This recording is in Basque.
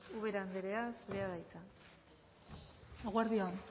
ubera andrea zurea da hitza eguerdi on